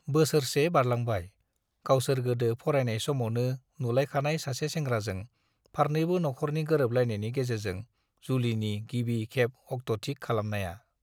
बोसोरसे बारलांबाय, गावसोर गोदो फरायनाय समावनो नुलायखानाय सासे सोंग्राजों फारनैबो नख'रनि गोरोबलायनायनि गेजेरजों जुलिनि गिबि खेब अक्ट'थिक खालामनाया।